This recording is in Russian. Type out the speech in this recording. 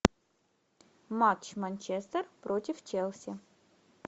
матч манчестер против челси